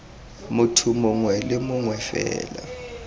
motho mongwe le mongwe fela